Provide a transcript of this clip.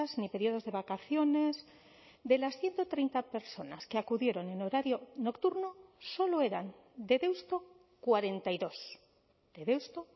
ni periodos de vacaciones de las ciento treinta personas que acudieron en horario nocturno solo eran de deusto cuarenta y dos de deusto